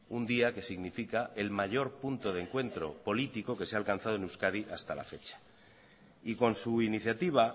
un día que significa el mayor punto de encuentro político que se ha alcanzado en euskadi hasta la fecha y con su iniciativa